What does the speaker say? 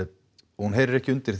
hún er ekki undir